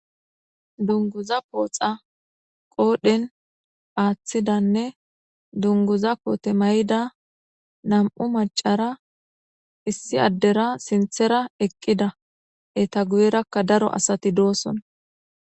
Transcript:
dunguza pooxa qoodhen aaththidanne dunguza poote may7ida nam7u macara issi addera sinthera eqqida eta guyerakka daro asati dooson